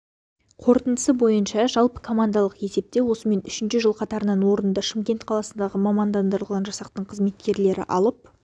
қорытындысы бойынша жалпыкомандалық есепте осымен үшінші жыл қатарынан орынды шымкент қаласындағы мамандандырылған жасақтың қызметкерлері алып